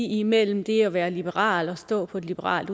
imellem det at være liberal og stå på et liberalt